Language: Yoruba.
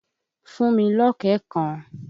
Fún mi lọ̀kẹ́ẹ̀ kan!